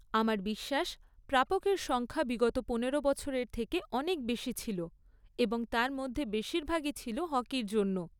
আমার বিশ্বাস প্রাপকের সংখ্যা বিগত পনেরো বছরের থেকে অনেক বেশি ছিল এবং তার মধ্যে বেশিরভাগই ছিল হকির জন্য।